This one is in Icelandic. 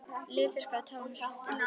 Lilla þurrkaði tárin svo lítið bar á.